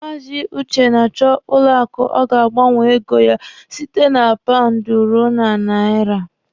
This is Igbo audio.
Maazi Uche na-achọ banki ọ ga-agbanwe ego ya site na paụndụ ruo na naira.